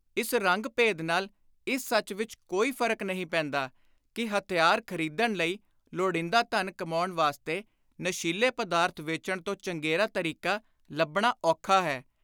ਇਸ ਰੰਗ-ਭੇਦ ਨਾਲ ਇਸ ਸੱਚ ਵਿਚ ਕੋਈ ਫ਼ਰਕ ਨਹੀਂ ਪੈਂਦਾ ਕਿ ਹਥਿਆਰ ਖ਼ਰੀਦਣ ਲਈ ਲੋੜੀਂਦਾ ਧਨ ਕਮਾਉਣ ਵਾਸਤੇ ਨਸ਼ੀਲੇ ਪਦਾਰਥ ਵੇਚਣ ਤੋਂ ਚੰਗੇਰਾ ਤਰੀਕਾ ਲੱਭਣਾ ਔਖਾ ਹੈ।